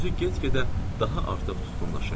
Üzü get-gedə daha artıq tutqunlaşırdı.